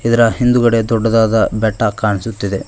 ಇದರ ಹಿಂದುಗಡೆ ದೊಡ್ಡದಾದ ಬೆಟ್ಟ ಕಾಣಿಸುತ್ತಿದೆ.